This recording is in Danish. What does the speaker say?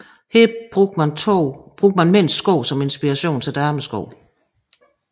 Her brugte man mænds sko som inspiration til damesko